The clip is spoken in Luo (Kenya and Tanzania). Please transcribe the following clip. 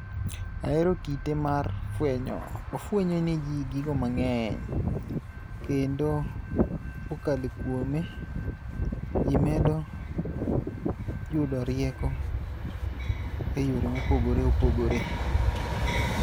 Ahero kite mar fwenyo. Ofwenyo ne ji gigo mang'eny. Kendo kokale kuome, ji medo yudo rieko e yore mopogore opogore.